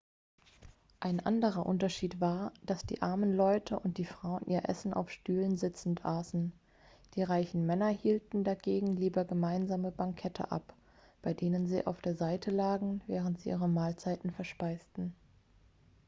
ein anderer unterschied war dass die armen leute und die frauen ihr essen auf stühlen sitzend aßen die reichen männer hielten dagegen lieber gemeinsame bankette ab bei denen sie auf der seite lagen während sie ihre mahlzeiten verspeisten